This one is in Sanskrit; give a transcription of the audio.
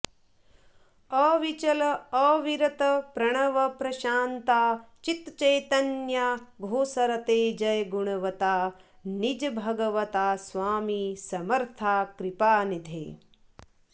अविचल अविरत प्रणव प्रशांता चित्चैतन्या घोषरते जय गुणवंता निज भगवंता स्वामी समर्था कृपानिधे